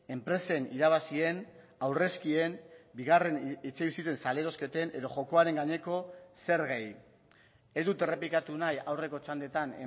enpresen irabazien aurrezkien bigarren etxebizitzen salerosketen edo jokoaren gaineko zergei ez dut errepikatu nahi aurreko txandetan